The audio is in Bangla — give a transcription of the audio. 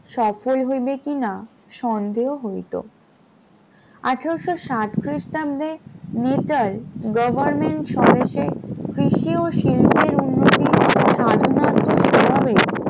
সফল হইবে কিনা সন্দেহ হইত, আঠারশ ষাট খ্রিস্টাব্দে মেটাল government স্বদেশে কৃষিও শিল্পের উন্নতি সাধনা তো সৌলবে